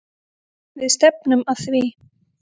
Við stefnum að því.